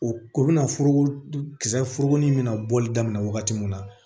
O o bɛna foro kisɛ foro in bɛna bɔli daminɛ wagati min na